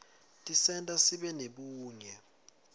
tisenta sibe nebunye